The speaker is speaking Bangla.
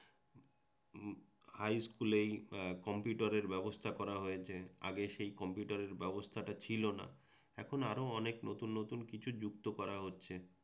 হাইস্কুলেই কম্পিউটারের ব্যবস্থা করা হয়েছে। আগে সেই কম্পিউটারের ব্যবস্থাটা ছিলনা। এখন আরও অনেক নতুন নতুন কিছু যুক্ত করা হচ্ছে